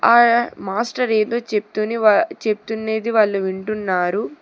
ఆ మాస్టర్ ఏదో చెప్తుని వా చెప్తున్నేది వాళ్ళు వింటున్నారు.